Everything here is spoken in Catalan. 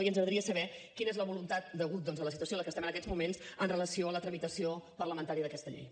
i ens agradaria saber quina és la voluntat degut doncs a la situació en la que estem en aquests moments en relació amb la tramitació parlamentària d’aquesta llei